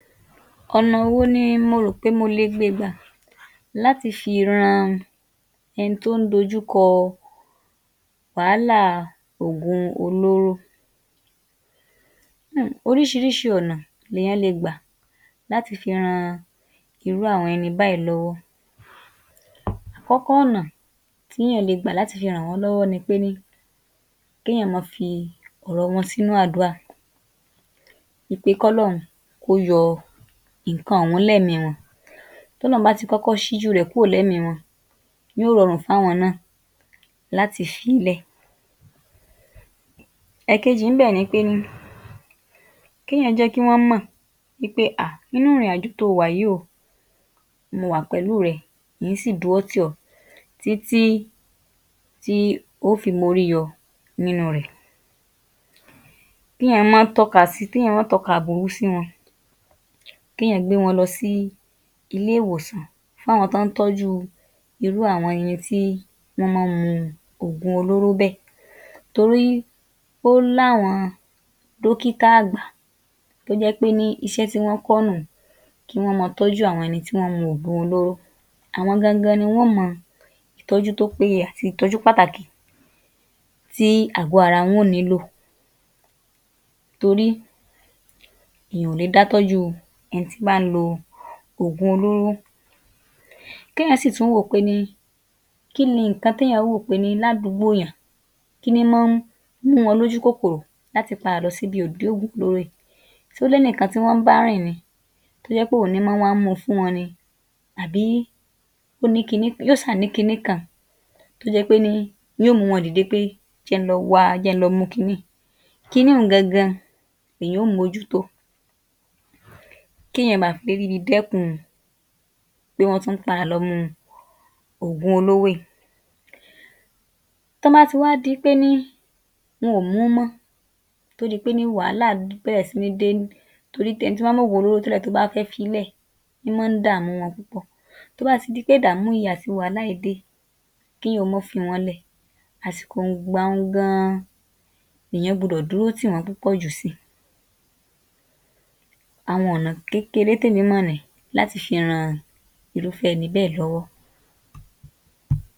Ọ̀nà wo ni mo rò pé mo le gbe gbà láti fi ran ẹni tó ń d'ójú kọ wàhálà a ògun olóró?. Um oríṣiríṣi ọ̀nà l'èyán le gbà láti fi ran irú àwọn ẹni báyìí lọ́wọ́; kọ́kọ́ ọ̀nà t'éyàn le gbà láti fi ràn wọ́n l'ọ́wọ́ ni pé ní k'éyàn ma fi ọ̀rọ wọn sínú àdúrà wí pé k'ọ́lọ́hun kó yọ ìnkan ọ̀hún lẹ́mìí i wọn, t'ọ́lọ́hun bá ti kọ́kọ́ ṣ'íjú u rẹ̀ kúrò lẹ́mi wọn yóó rọrùn f'áwọn náà láti fi í lẹ̀. Èkejì ín bẹ̀ ni pé ní k'éyàn jẹ́ kí wọ́n mọ̀ wí pé ah irú ìrìnàjò to wà yìí o,mo wà pẹ̀lú rẹ in-ín sì dúró tì ọ́ títí tí o ó fi m'órí yọ nínu rẹ̀, k'éyàn má tọ̀ọ́ka sí k'éyàn má tọ̀ọ́ka aburú k'éyàn gbé wọn lọ sí ilé ìwòsàn fún àwọn tọ́ ń tọ́jú u irú àwọn ẹni tí wọ́n má ń mu ògun olóró bẹ́ẹ̀ torí ó l'áwọn dókítà àgbà tó jẹ́ pé ní iṣẹ́ tí wọ́n kọ́ nù un kí wọ́n ma tọ́jú àwọn ẹni tí wọ́n mu ògun olóró, àwọn gangan ni wọ́n mọ ìtọ́jú tó pé ye àti ìtọ́jú pàtàkì tí àgọ ara wọ́n nìílò torí èyàn ò le dá tọ́jú u ẹni tí ń bá ń lo ògun olóró. k'éyàn sì tún wòó pé ní kí ni ǹkan t'éyàn wò pé ní ládùúgbò èyàn, kí ní ń má ń mú wọn l'ójú kòkòrò láti padà lọ s'ídi Ògún olóró yìí?ṣó l'ẹ́nìkan tọ́ ń bá rìn ni tó jẹ́ pé òun ní ń má wá ń mu fún wọn ni? Abi ó ní kiní? yóò ṣáà ní kiní kan tó jẹ́ pé ní yóò mú wọn dìde pé jẹ n lọ wa jẹ́ n lọ mú kiní yìí, kiní un gangan l'èyán ó m'ójú tó. K'éyàn ma perí bi d'ẹ́kun pé wọ́n tún padà lọ mu ògun olóró yìí, tọ́n bá ti wá diìpé ní wọn ò mú mọ́ tó di pé ní wàhálà bẹ̀rẹ̀ sí ní dé torí t'ẹni tó má ń m'ògun olóró tẹ́lẹ̀ tó bá fẹ́ fiílẹ̀ ín mọ́n dàmu wọn púpọ̀ tó bá ti di pé ìdàmú yìí àti wàhálà yìí dé, k'éyàn mọ́ fi wọ́n lẹ̀ àsìkò ìgbà un gan-an nìyán gbudọ̀ dúró tì wọ́n púpọ̀ jù si, àwọn ọ̀nà kékeré t'émi I mọ̀ nìí láti fi ran irú ẹni bẹ́ẹ̀ l'ọ́wọ́.